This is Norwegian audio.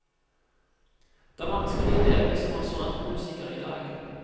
Det er vanskelig å leve som restaurantmusiker i dag.